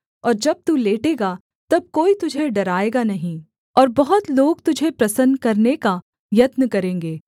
और जब तू लेटेगा तब कोई तुझे डराएगा नहीं और बहुत लोग तुझे प्रसन्न करने का यत्न करेंगे